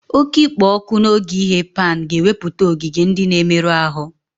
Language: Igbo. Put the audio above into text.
Oke ikpo ọkụ n'oge ighe pan ga-ewepụta ogige ndị na-emerụ ahụ